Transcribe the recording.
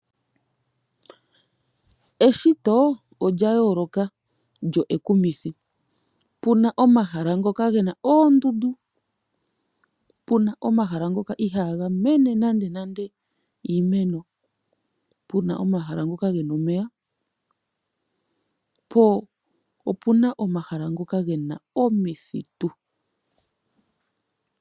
Eshito olya yooloka nekumithi . Opuna omahala ngoka gena oondundu, opuna omahala ngoka ihaaga mene nando iimeno , opuna omahala ngoka gena omeya . Po opuna omahala ngoka gena omithitu.